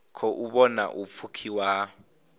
khou vhona u pfukiwa ha